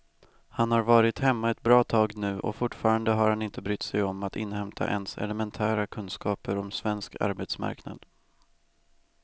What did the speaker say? Han har varit hemma ett bra tag nu och fortfarande har han inte brytt sig om att inhämta ens elementära kunskaper om svensk arbetsmarknad.